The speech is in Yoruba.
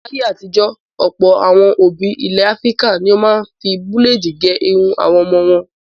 Láyé àtijọ́ Ọ̀pọ̀ àwọn òbí ilẹ̀ Áfíríkà ni ó máa ń fi búlédì gẹ irun àwọn ọmọ wọn.